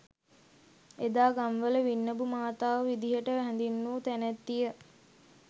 එදා ගම්වල වින්නඹු මාතාව විදිහට හැඳින්වූ තැනැත්තිය